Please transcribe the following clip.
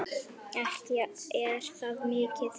Ekki er það mikið!